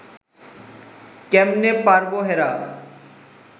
কেমনে পারব হেরা